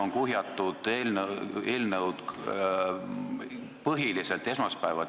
Nüüd on eelnõud kuhjatud põhiliselt esmaspäeva.